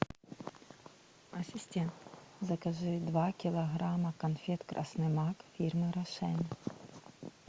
ассистент закажи два килограмма конфет красный мак фирмы рошен